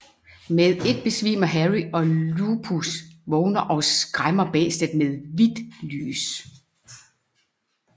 Med et besvimer Harry og Lupus vågner og skræmmer bæstet med vidt lys